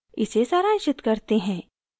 इसे सारांशित करते हैं